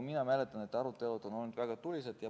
Ma mäletan, et arutelud on olnud väga tulised.